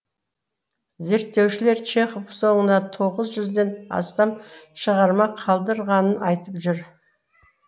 зерттеушілер чехов соңына тоғыз жүзден астам шығарма қалдырғанын айтып жүр